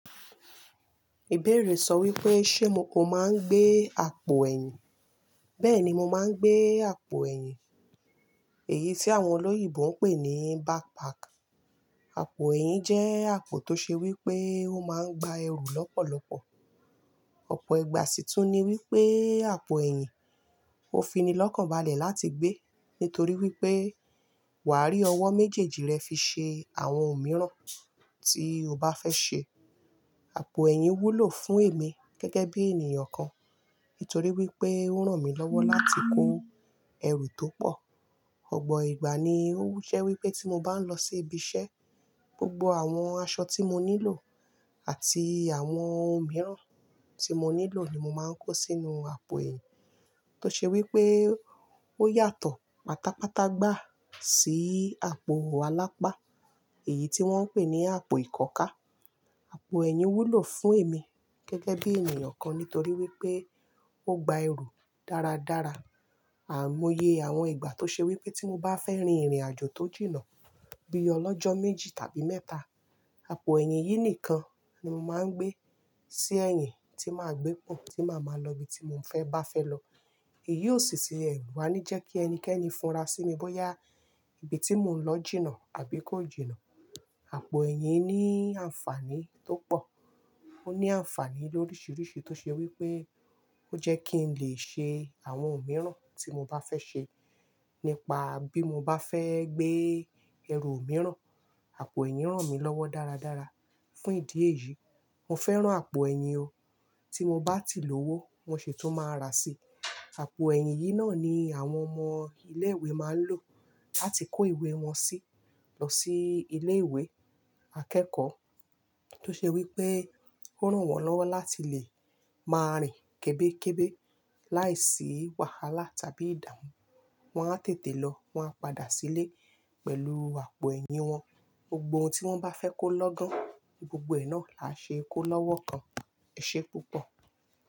Ìbéèrè sọ wípé ṣe mo máa ń gbé àpò ẹ̀yìn. Bẹ́ẹ̀ni mo máa ń gbé àpò ẹ̀yìn. Èyí tí àwọn olóyìnbo ń pè ní backpack. Àpò ẹ̀yìn jẹ́ àpò tó ṣe wípé ó máa ń gba ẹrù lọ́pọ̀lọpọ̀. Ọ̀pọ̀ ìgbà sì tún ní wípé àpò ẹ̀yìn ó fini lọ́kàn balẹ̀ láti gbé, nítorí wípé wà á rí ọwọ́ méjèèjì rẹ fi ṣe àwọn ohun mìíràn tí o bá fẹ́ ṣe. Àpò ẹ̀yìn wúlò fún èmi gẹ́gẹ́ bí ènìyàn kan nítorí wípé ó ràn mí lọ́wọ́ láti kó ẹrù tó pọ̀. Ọ̀pọ̀ ìgbà ni ó wusẹ́ wípé tí mo bá ń lọ sí ibi iṣẹ́, gbogbo àwọn aṣọ tí mo nílò àti àwọn ohun mìíràn tí mo nílò ni mo máa ń kó sínú àpò ẹ̀yìn. Tó ṣe wípé ó yàtọ̀ patapata gbá sí àpò alápá, èyí tí wọ́n ń pè ní àpò ìkọ́ka. Àpò ẹ̀yìn wúlò fún èmi gẹ́gẹ́ bí ènìyàn kan nítorí wípé ó gba ẹrù dáradára. Àmúye àwọn ìgbà tó ṣe wípé tí mo bá fẹ́ rin ìrìnàjò tó jìnnà bí i ọlọ́jọ́ méjì tàbí mẹ́ta, àpò ẹ̀yìn yìí nìkan ni mo máa ń gbé sí ẹ̀yìn tí màá gbé pọ̀n tí màá máa lọ ibi tí mò ń fẹ́ bá fẹ́ lọ. Èyí ò sì ṣe ẹ̀rù wá ní jẹ́ kí ẹnikẹ́ni fúnra sími bóyá ibi tí mò ń lọ jìnnà àbí kò jìnnà. Àpò ẹ̀yìn ní àǹfàní tó pọ̀. Ó ní àǹfàní lórisìíríṣìí tó ṣe wípé ó jẹ́ kí n lè ṣe àwọn ohun mìíràn tí mo bá fẹ́ ṣe. Nípa bí mo bá fẹ́ gbé ẹrù mìíràn, àpò ẹ̀yìn ràn mí lọ́wọ́ dáradára. Fún ìdí èyí, mo fẹ́ràn àpò ẹ̀yìn o. Tí mo bá ti lówó, mo ṣe tó máa ra sí. Àpò ẹ̀yìn yìí náà ni àwọn ọmọ ilé ìwé máa ń lò láti kó ìwé wọn sí lọ sí ilé ìwé akẹ́kọ̀ọ́. Tó ṣe wípé ó ràn wọ́n lọ́wọ́ láti lè máa rìn kébékébé láìsí wàhálà tàbí ìdààmú. Wọn á tètè lọ, wọn á padà sílé pẹ̀lú àpò ẹ̀yìn wọn. Gbogbo ohun tí wọ́n bá fẹ́ kó lọ́gán, gbogbo ẹ̀ náà là á ṣe kó lọ́wọ́ kan. E Ṣé púpọ̀?